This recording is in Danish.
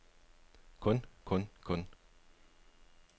kun kun kun